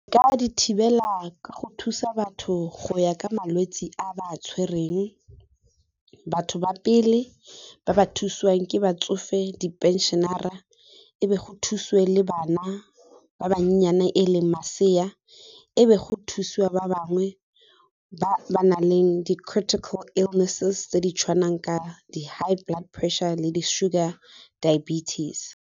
Nka di thibela ka go thusa batho go ya ka malwetse a ba a tshwereng, batho ba pele ba ba thusiwang ke batsofe di-pension-ara, e be go thusiwe le bana ba ba nnyenyana e leng masea, e be go thusiwa ba bangwe ba ba nang le di critical illnesses tse di tshwanang ka di-high blood pressure le di-sugar diabetes.